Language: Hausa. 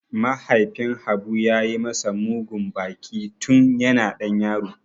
Mahaifin Habu ya yi masa mugun baki tun yana ɗan yaro.